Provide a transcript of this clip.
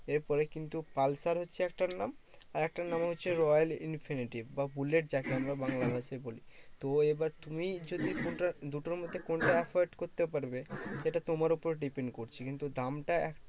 এরপরে কিন্তু পালসার হচ্ছে একটার নাম। আরেকটার নাম হচ্ছে রয়েল ইনফিনিটিভ বা বুলেট যাকে আমরা বাংলা ভাষায় বলি। তো এইবার তুমি যদি কোনটা দুটোর মধ্যে কোনটা afford করতে পারবে? সেটা তোমার উপরে depend করছে কিন্তু দামটা